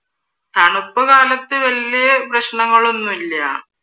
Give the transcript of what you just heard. തണുപ്പ് കാലത്ത് വല്ല്യ പ്രശ്നനങ്ങളൊന്നുല്ല്യ.